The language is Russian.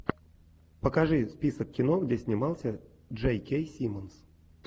покажи список кино где снимался джей кей симмонс